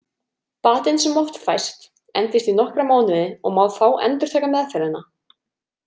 Batinn sem oft fæst endist í nokkra mánuði og má þá endurtaka meðferðina.